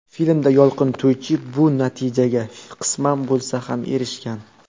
Filmda Yolqin To‘ychiyev bu natijaga, qisman bo‘lsa ham, erishgan.